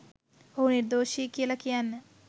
ඔහු නිර්දෝෂි කියලා කියන්න